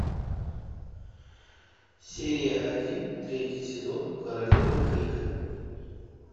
серия один третий сезон королевы крика